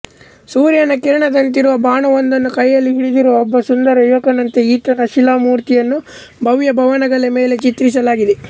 ಸೂರ್ಯನ ಕಿರಣದಂತಿರುವ ಬಾಣವೊಂದನ್ನು ಕೈಯಲ್ಲಿ ಹಿಡಿದಿರುವ ಒಬ್ಬ ಸುಂದರ ಯುವಕನಂತೆ ಈತನ ಶಿಲಾ ಮೂರ್ತಿಯನ್ನು ಭವ್ಯಭವನಗಳ ಮೇಲೆ ಚಿತ್ರಿಸಲಾಗಿದೆ